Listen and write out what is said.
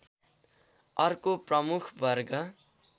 अर्को प्रमुख वर्ग